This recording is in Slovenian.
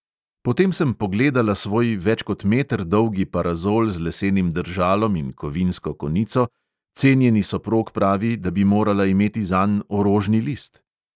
Potem sem pogledala svoj več kot meter dolgi parazol z lesenim držalom in kovinsko konico, cenjeni soprog pravi, da bi morala imeti zanj orožni list.